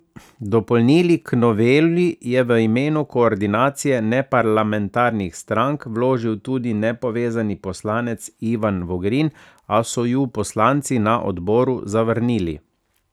Dopolnili k noveli je v imenu Koordinacije neparlamentarnih strank vložil tudi nepovezani poslanec Ivan Vogrin, a so ju poslanci na odboru zavrnili.